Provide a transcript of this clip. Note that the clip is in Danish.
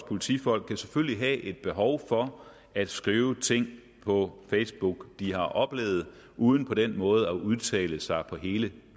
politifolk kan selvfølgelig også have et behov for at skrive ting på facebook de har oplevet uden på den måde at udtale sig på hele